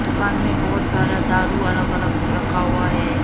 दुकान में बहुत सारा दारू अलग अलग रखा हुआ है।